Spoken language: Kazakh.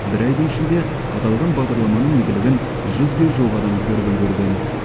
бір айдың ішінде аталған бағдарламаның игілігін жүзге жуық адам көріп үлгерген